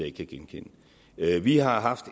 ikke kan genkende vi har haft